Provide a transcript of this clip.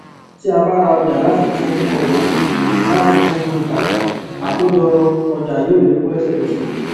tí a bá ra ọjà láti tun ọjà láti tun ta àkójọ ọjà yóó lékún lesekese